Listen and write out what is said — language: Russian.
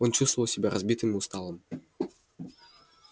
он чувствовал себя разбитым и усталым